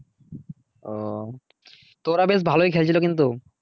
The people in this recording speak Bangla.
ও তো ওরা বেশ ভালোই খেলছিল কিন্তু।